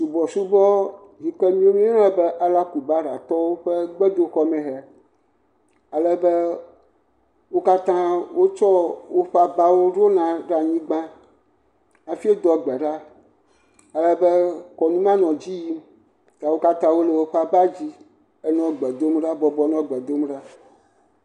Subɔsubɔ yi ke miawo míeyɔna be Alakubaratɔwo ƒe gbedoxɔmee hee. Alebe wo katã wotsɔ woƒe abawo ɖona ɖe anyigba hafi doa gbe ɖa. Alebe kɔnu mawo nɔ dzi yim. Ta wo katã wole woƒe abadzi hele gbe dom ɖa, bɔbɔ nɔ gbe dom ɖa.